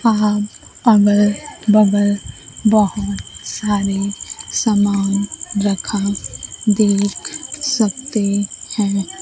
आप अगल बगल बहोत सारे सामान रखा देख सकते हैं।